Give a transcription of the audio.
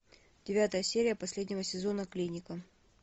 девятая серия последнего сезона клиника